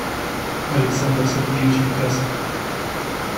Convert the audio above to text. александр сергеевич бекасов